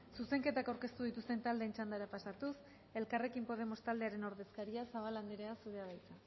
zuzenketak aurkeztu dituzten taldeen txandara pasatuz elkarrekin podemos taldearen ordezkaria zabala anderea zurea da hitza